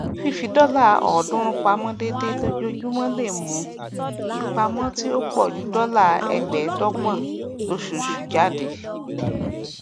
fífi dọlà ọọdúnrún pamọ déédéé lójoojúmọ lè mú ìpamọ tí ó pọ ju dọlà ẹgbẹẹdọgbọn lóṣooṣù jáde